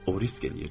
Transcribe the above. O risk eləyirdi.